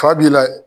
Fa b'i layɛ